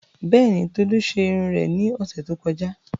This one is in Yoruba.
Bẹ́ẹ̀ni, Tolu ṣe irun rẹ̀ ní ọ̀sẹ̀ tí ó kọjá